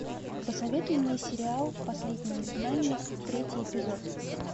посоветуй мне сериал последний изгнанник третий эпизод